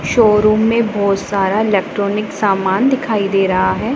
Showroom में बहोत सारा इलेक्ट्रॉनिक सामान दिखाई दे रहा हैं।